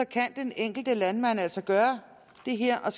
kan den enkelte landmand altså gøre det her og